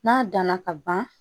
N'a danna ka ban